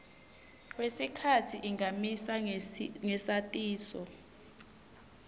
kwesikhatsi ingamisa ngesatiso